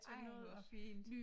Ej hvor fint